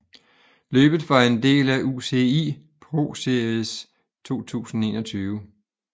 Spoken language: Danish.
Løbet var en del af UCI ProSeries 2021